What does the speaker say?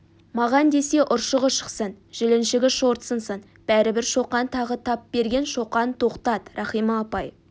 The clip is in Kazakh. маған десе ұршығы шықсын жіліншігі шорт сынсын бәрібір шоқан тағы тап берген шоқан тоқтат рахима апай